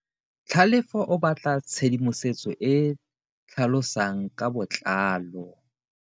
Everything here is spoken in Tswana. Tlhalefo o batla tshedimosetso e e tlhalosang ka botlalo.